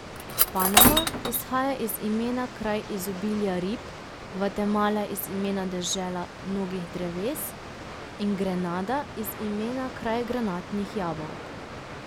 Panama izhaja iz imena kraj izobilja rib, Gvatemala iz imena dežela mnogih dreves in Grenada iz imena kraj granatnih jabolk.